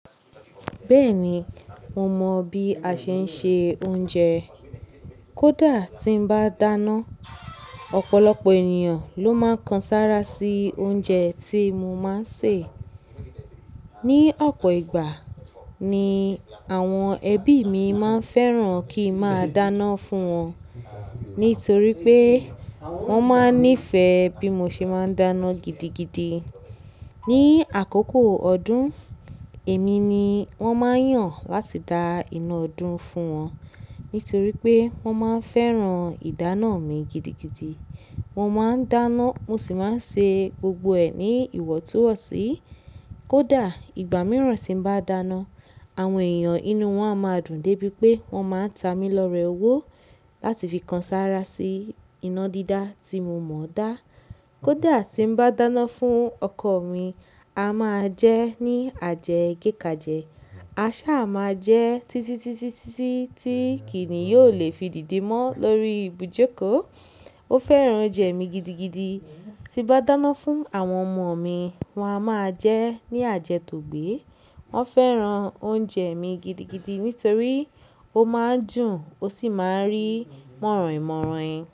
Bẹ́ẹ̀ni, mo mọ bí a ṣe ń se oúnjẹ. Kódà tí n bá dáná, ọ̀pọ̀lọpọ̀ ènìyàn ló máa ń kan sára sí oúnjẹ tí mo máa ń sè. Ni ọ̀pọ̀ ìgbà ni àwọn ẹbí mi máa ń fẹ́ràn kí n máa dáná fún wọn, nítorí pé wọ́n máa ń nífẹ̀ẹ́ bí mo ṣe máa ń dáná gidigidi. Ni àkókò ọdún, èmi ni wọ́n máa ń yàn láti da iná ọdún fún wọn, nítorí pé wọ́n máa ń fẹ́ràn ìdáná mi gidigidi. Mọ́ máa ń dáná, mo sì máa ń ṣe gbogbo ẹ ní ìwọ̀túwọ̀sí. Kódà ìgbà mìíràn tí ń bá dáná, àwọn èèyàn inú wọn a máa dùn dé bí pé wọ́n máa ń ta mi lọ́rẹ owó láti fi kan sára sí iná dídá tí mo mọ dá. Kódà tí ń bá dáná fún ọkọ mi, a máa jẹ́ ní àjẹ́ gẹ́kàjẹ́, a ṣá máa jẹ́ títítítí tí kìní yóò lè fi dìde mọ́ lórí ibùjẹ́kòó. Ó fẹ́ràn oúnjẹ mi gidigidi. Ti bá dáná fún àwọn ọmọ mi, wọ́n á máa jẹ́ ní àjẹ́ tògbé. Wọ́n fẹ́ràn oúnjẹ mi gidigidi nítorí ó máa ń dùn, ó sì máa ń rí mọ̀roinmọ̀roin.